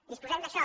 disposem d’això